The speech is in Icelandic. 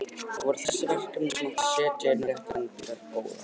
Það voru þessi verkefni þar sem á að setja inn réttar endingar: Góða.